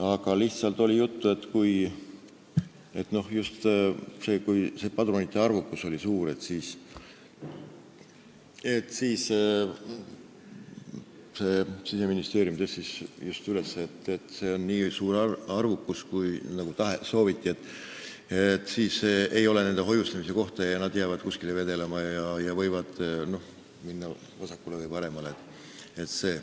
Aga oli juttu sellest, Siseministeerium tõstis selle teema üles, et kui padrunite arv on nii suur, nagu sooviti, siis ei ole nende hoiustamise kohta ning nad jäävad kuskile vedelema ja võivad minna vasakule või paremale.